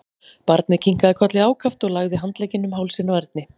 Barnið kinkaði kolli ákaft og lagði handleggina um hálsinn á Erni.